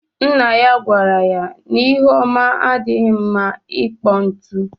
Nna ya gwara ya n’ihu ọma adighi mma ịkpọ ntu